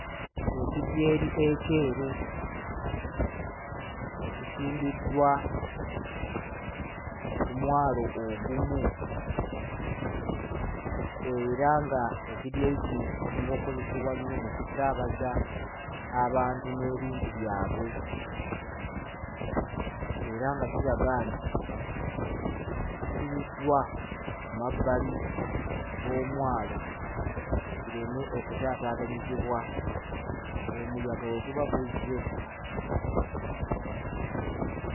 Ekidyeri ekyeru ekisimbiddwa ku mwalo ogumu era nga ekidyeri kino kisinga okozesebwa ennyo mu kusaabaza abantu n'ebintu byabwe era nga kiraga nti kisibiddwa ku mabbali g'omwalo kireme okutaataganyizibwa omuyaga bwe guba guzze.